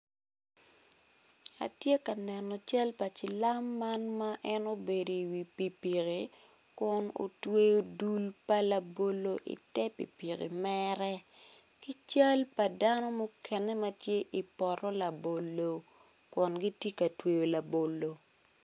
Atye ka neno cal pa cilam man ma obedo i wi pikipiki kun otwero dul pa labolo i tere ki cal pa dano ma gitye i poto labolo kun gitye ka tweyo labolo.